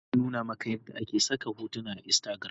Wanene ya nuna maka yadda ake saka hotuna akan instagram?